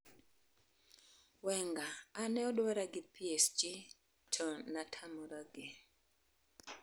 Wenger: An ne odwara gi PSG to natamoragi